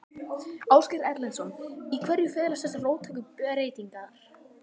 Ásgeir Erlendsson: Í hverju felast þessar róttæku breytingar?